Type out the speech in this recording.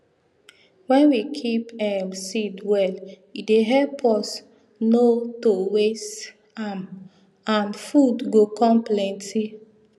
wen we keep um seed well e dey help us nor to waste am and food go com plenty